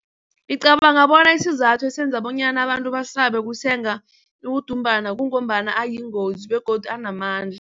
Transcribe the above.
Ngicabanga bona isizathu esenza bonyana abantu basabe ukusenga udumbana kungombana ayingozi begodu anamandla.